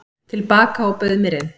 til baka og bauð mér inn.